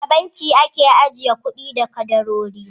A banki ake ajiye kuɗi da kadarori.